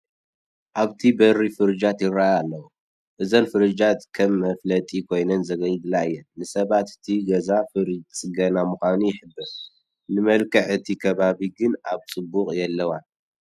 ኣብቲ በሪ ፍርጃት ይርአያ ኣለዋ፡፡ እዘን ፍርጃት ከም መፋለጢ ኮይነን የግልግላ እየን፡፡ ንሰባት እቲ ገዛ ፍርጅ ዝፅገነሉ ምዃኑ ይሕብራ፡፡ ንመልክዕ እቲ ከባቢ ግን ኣብ ፅቡቕ የለዋን፡፡